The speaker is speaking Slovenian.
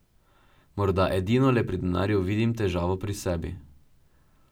Morda edinole pri denarju vidim težavo pri sebi.